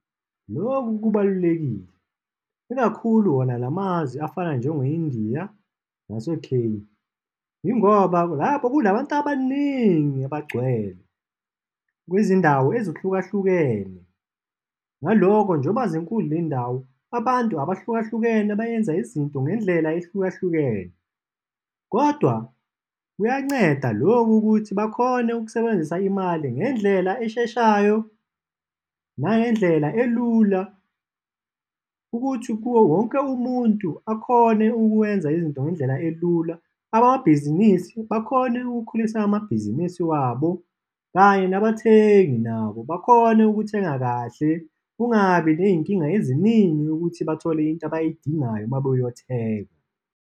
Lokhu kubalulekile, ikakhulu wona la mazwe afana njengo-India naseKenya. Yingoba ngapha kunabantu abaningi abagcwele kwizindawo ezihlukahlukene, ngaloko njengoba zinkulu ley'ndawo, abantu abahlukahlukene bayenza izinto ngendlela ehlukahlukene. Kodwa kuyanceda lokhu ukuthi bakhone ukusebenzisa imali ngendlela esheshayo nangendlela elula ukuthi kuwo wonke umuntu akhone ukwenza izinto ngendlela elula. Abamabhizinisi akhone ukukhulisa amabhizinisi wabo, kanye nabathengi nabo bakhone ukuthenga kahle. Kungabi ney'nkinga eziningi ukuthi bathole into abayidingayo uma beyothenga.